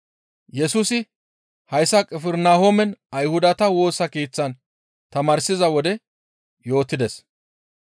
Yesusi hayssa Qifirnahoomen Ayhudata Woosa Keeththan tamaarsiza wode yootides.